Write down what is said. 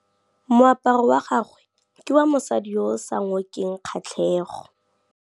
Moaparô wa gagwe ke wa mosadi yo o sa ngôkeng kgatlhegô.